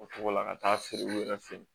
O togo la ka taa feere u yɛrɛ fɛ yen